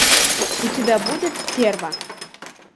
у тебя будет стерва